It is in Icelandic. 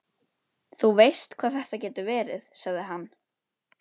Þú veist hvað þetta getur verið, sagði hann.